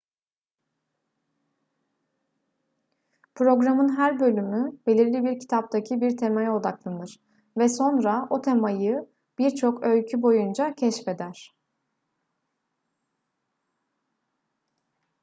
programın her bölümü belirli bir kitaptaki bir temaya odaklanır ve sonra o temayı birçok öykü boyunca keşfeder